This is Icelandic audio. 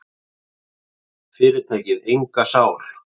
Fyrirtækið enga sál.